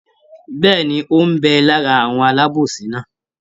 Bẹ́ẹ̀ni, ó ń bẹ lára àwọn alábòsí náà?